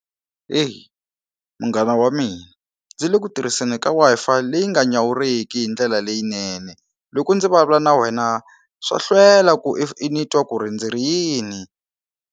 Eyi munghana wa mina ndzi le ku tirhiseni ka Wi-Fi leyi nga nyawuriki hi ndlela leyinene loko ndzi vulavula na wena swa hlwela ku i ni twa ku ri ndzi ri yini.